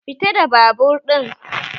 Fita da babur ɗin!